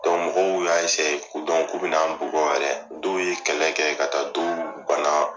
mɔgɔw y'a k'u be n'anw bugɔ yɛrɛ .Dɔw ye kɛlɛ kɛ ka taa dɔwɔ bana